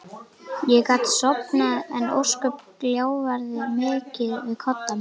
Ég gat sofnað en ósköp gjálfraði mikið við koddann minn.